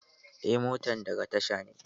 Eh, motan daga tasha ne.